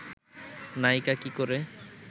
নায়িকা কী করে